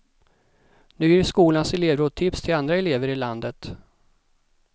Nu ger skolans elevråd tips till andra elever i landet.